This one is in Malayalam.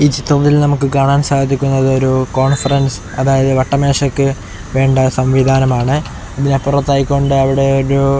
ഈ ചിത്രത്തിൽ നമുക്ക് കാണാൻ സാധിക്കുന്നത് ഒരു കോൺഫ്രൻസ് അതായത് വട്ടമേശയ്ക്ക് വേണ്ട സംവിധാനമാണ് ഇതിനപ്പുറത്തായി കൊണ്ട് അവിടെ ഒരു--